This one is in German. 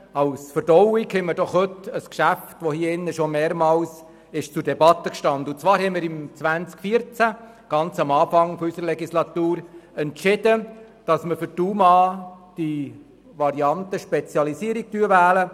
Zur Verdauung haben wir heute ein Geschäft, das in diesem Saal schon mehrmals zur Debatte stand, und zwar hatten wir 2014 zu Beginn dieser Legislaturperiode entschieden, für die UMA die Variante «Spezialisierung» zu wählen.